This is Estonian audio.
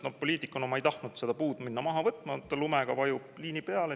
Noh, poliitikuna ma ei tahtnud minna üht puud loata maha võtma, aga ta lumega vajub liini peale.